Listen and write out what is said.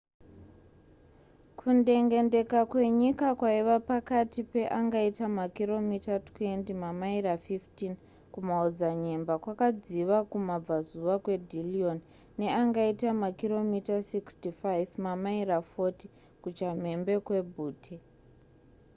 kundengendeka kwenyika kwaiva pakati peangaita makiromita 20 mamaira 15 kumaodzanyemba- kwakadziva kumabvazuva kwedillion neangaita makiromita 65 mamaira 40 kuchamhembe kwebutte